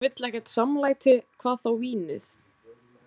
Hún vill ekkert samlæti, hvað þá vínið.